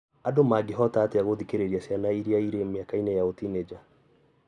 Andũ mangĩhota atĩa gũthikĩrĩria ciana iria irĩ mĩaka-inĩ ya ũtinĩnja?